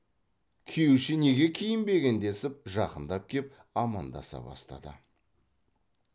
күйеуше неге киінбеген десіп жақындап кеп амандаса бастады